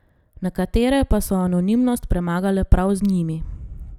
Nekatere pa so anonimnost premagale prav z njimi.